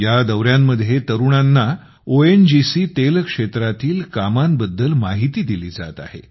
या दौऱ्यांमध्ये तरुणांना ओएनजीसी तेल क्षेत्रातील कामांबद्दल माहिती दिली जात आहे